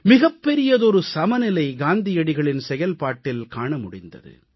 மிகப்பெரியதொரு சமநிலை காந்தியடிகளின் செயல்பாட்டில் காண முடிந்தது